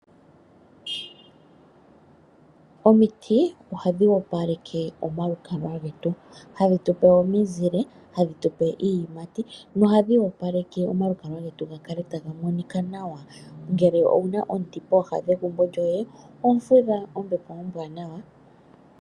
Omiti ohadhi opaleke omalukalwa getu, hadhi tupe omizile hadhi tupe iiyimati nohadhi opaleke omalukalwa getu ga kale taga monika nawa ngele owu na omuti pooha negumbo lyoye oho fudha ombepo ombwaanawa.